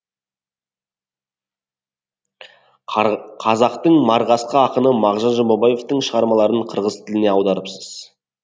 қазақтың марғасқа ақыны мағжан жұмабаевтың шығармаларын қырғыз тіліне аударыпсыз